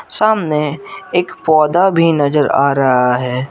सामने एक पौधा भी नजर आ रहा है।